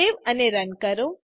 save અને run કરો